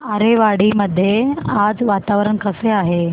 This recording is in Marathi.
आरेवाडी मध्ये आज वातावरण कसे आहे